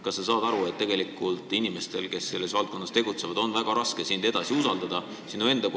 Kas sa saad aru, et inimestel, kes selles valdkonnas tegutsevad, on väga raske sind edaspidi usaldada?